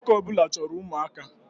Nwoke ọ bụla chọrọ ụmụaka